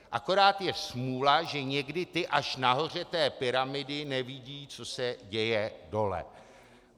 Akorát je smůla, že někdy ti až nahoře té pyramidy nevidí, co se děje dole.